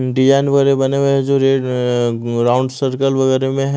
Design वगैरे बने हुए जो रेड अ राउंड सर्कल वगैरे में है।